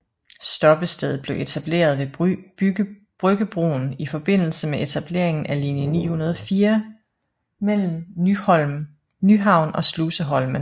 Stoppestedet blev etableret ved Bryggebroen i forbindelse med etableringen af linje 904 mellem Nyhavn og Sluseholmen